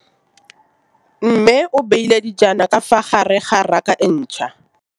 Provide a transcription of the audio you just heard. Mmê o beile dijana ka fa gare ga raka e ntšha.